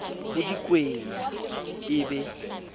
ho di kwenya e be